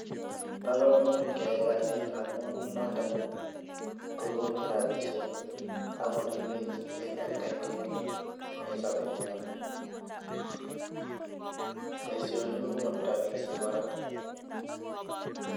bo komonut keyai kasit amu noto kokonech rapisiek agoripech eng atkai tugul eng sobenyu boisiani kokonu rapisiek kora